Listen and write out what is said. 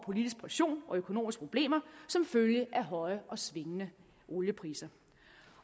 politisk pression og økonomiske problemer som følge af høje og svingende oliepriser